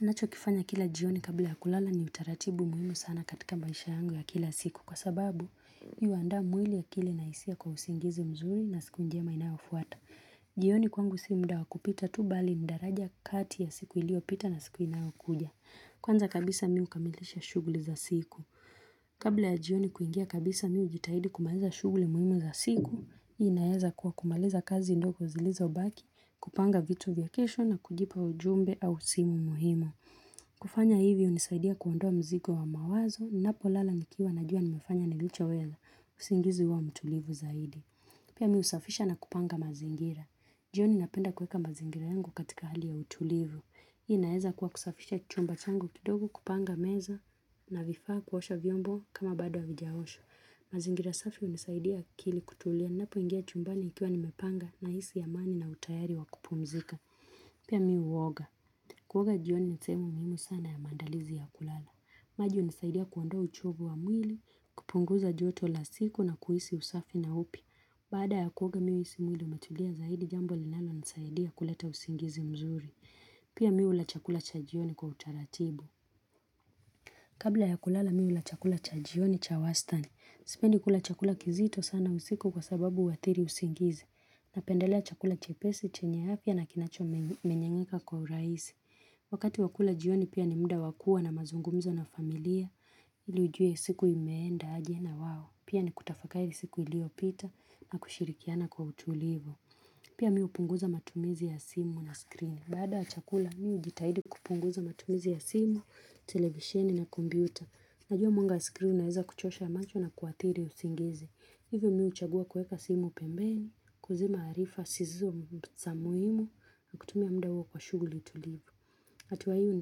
Nacho kifanya kila jioni kabla ya kulala ni utaratibu muhimu sana katika maisha yangu ya kila siku kwa sababu yuanda mwili akili na isia kwa usingizi mzuri na siku njema inayofuata. Jioni kwangu si mda wa kupita tu bali ni daraja kati ya siku ilio pita na siku inayokuja. Kwanza kabisa mi hukamilisha shughuli za siku. Kabla ya jioni kuingia kabisa mi hujitahidi kumaliza shughuli muhimu za siku hii inaeza kuwa kumaliza kazi ndogo uzilizobaki kupanga vitu vya kesho na kujibu ujumbe au simu muhimu kufanya hivi unisaidia kuondoa mzigo wa mawazo Napo lala nikiwa na jua nimefanya nilicho weza usingizi huwamtulivu zaidi Pia mi husafisha na kupanga mazingira jioni napenda kueka mazingira yangu katika hali ya utulivu hii inaeza kuwa kusafisha chumba changu kidogo kupanga meza na vifaa kuosha vyombo kama bado havijaoshwa. Mazingira safi unisaidia akili kutulia napo ingia chumbani nikiwa nimepanga na hisi amani na utayari wakupumzika. Pia mi huoga. Kuoga jioni ni sehemu muhimu sana ya maandalizi ya kulala. Maji unisaidia kuondoa uchovu wa mwili, kupunguza joto la siku na kuhisi usafi na upya. Baada ya kuoga mi huhisi mwili umetulia zaidi jambo linalo nisaidia kuleta usingizi mzuri. Pia mi hula chakula cha jioni kwa utaratibu. Kabla ya kulala mi hula chakula cha jioni cha wastani. Sipendi kula chakula kizito sana usiku kwa sababu huathiri usingizi. Napendelea chakula chepesi chenye afia na kinacho menyenyeka kwa urahisi. Wakati wakula jioni pia ni muda wakuwa na mazungumzo na familia ili ujue siku imeenda aje na wao. Pia ni kutafakari siku iliopita na kushirikiana kwa utulivo. Pia mi hupunguza matumizi ya simu na screen. Bada chakula mi hujitahidi kupunguza matumizi ya simu, televisheni na kompyuta. Najua mwanga wa screen unaeza kuchosha macho na kuathiri usingizi. Hivyo mi huchagua kueka simu pembeni, kuzima harifa sizizo za muhimu na kutumia muda huo kwa shuguli tulivu. Hatua hio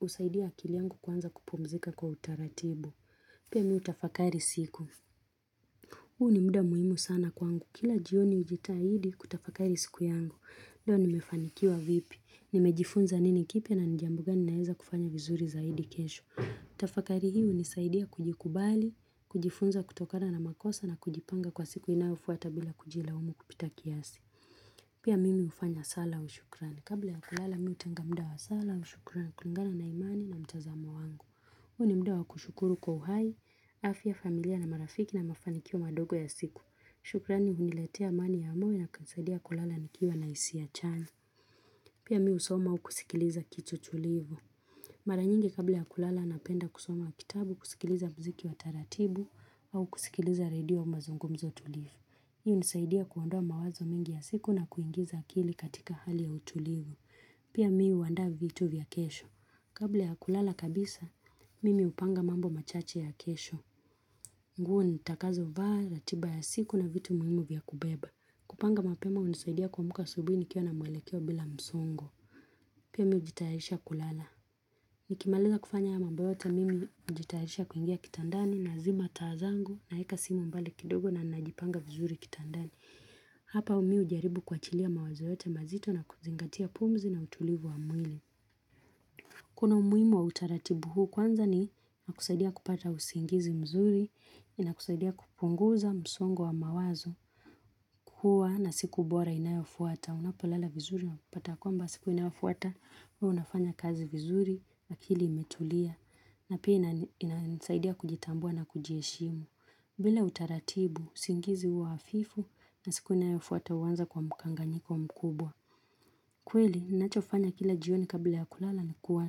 husaidia akili yangu kuanza kupumzika kwa utaratibu. Pia mi hutafakari siku. Huu ni muda muhimu sana kwangu. Kila jioni hujitahidi kutafakari siku yangu. Doa nimefanikiwa vipi. Nimejifunza nini kipya na nijambo gani ninaeza kufanya vizuri zaidi kesho. Tafakari hii hunisaidia kujikubali, kujifunza kutokana na makosa na kujipanga kwa siku inaofuata bila kujilaumu kupita kiasi. Pia mimi ufanya sala wa shukrani. Kabla ya kulala mihutenga muda wa sala wa shukrani. Kulingana na imani na mtazamo wangu. Huu ni muda wa kushukuru kwa uhai, afya, familia na marafiki na mafanikio madogo ya siku. Shukrani huniletea amani ya moyo na kunisaidia kulala nikiwa na hisia chanya Pia mihusoma au kusikiliza kitu tulivu Mara nyingi kabla ya kulala napenda kusoma kitabu kusikiliza mziki wa taratibu au kusikiliza radio mazungumzo tulivu hiyo hunisaidia kuondoa mawazo mingi ya siku na kuingiza akili katika hali ya utulivu Pia mi huandaa vitu vya kesho Kabla ya kulala kabisa, mimi upanga mambo machache ya kesho nguo ni takazo vaa, ratiba ya siku na vitu muhimu vya kubeba. Kupanga mapema hunisaidia kuamuka asubuhi nikiwa na muelekeo bila msongo. Pia mi hujitarisha kulala. Nikimaliza kufanya haya mambo yote mimi hujitayarisha kuingia kitandani na zima taa zangu naeka simu mbali kidogo na najipanga vizuri kitandani. Hapa mi hujaribu kuachilia mawazo yote mazito na kuzingatia pumzi na utulivu wa mwili. Kuna umuhimu wa utaratibu huu kwanza ni nakusaidia kupata usingizi mzuri, inakusaidia kupunguza msongo wa mawazo, kuwa na siku bora inayofuata, unapolala vizuri unapata ya kwamba siku inayofuata, unafanya kazi vizuri, akili imetulia, na pia inasaidia kujitambua na kujieshimu. Bila utaratibu, usingizi huwa hafifu na siku inayofuata huwanza kwa mkanganyiko mkubwa. Kweli, ninachofanya kila jioni kabila ya kulala ni kuwa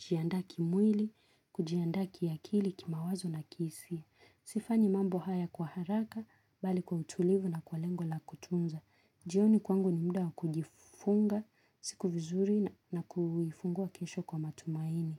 jiaandaa kimwili, kujiandaa kiakili, kimawazo na kihisia. Sifanyi mambo haya kwa haraka, bali kwa utulivu na kwa lengo la kutunza. Jioni kwangu ni muda kuiifunga, siku vizuri na kuiifungua kesho kwa matumaini.